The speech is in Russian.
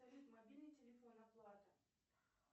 салют мобильный телефон оплата